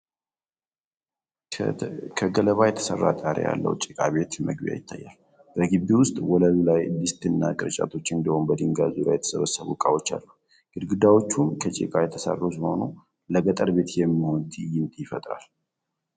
ከገለባ የተሠራ ጣሪያ ያለው ጭቃ ቤት መግቢያ ይታያል። በግቢው ውስጥ ወለሉ ላይ ድስትና ቅርጫቶች፤ እንዲሁም በድንጋይ ዙሪያ የተሰበሰቡ ዕቃዎች አሉ። ግድግዳዎቹም ከጭቃ የተሠሩ ሲሆኑ፤ ለገጠር ቤት የሚሆን ትዕይንት ይፈጥራሉ።